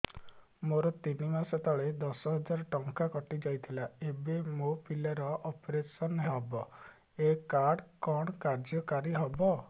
ମୋର ତିନି ମାସ ତଳେ ଦଶ ହଜାର ଟଙ୍କା କଟି ଯାଇଥିଲା ଏବେ ମୋ ପିଲା ର ଅପେରସନ ହବ ଏ କାର୍ଡ କଣ କାର୍ଯ୍ୟ କାରି ହବ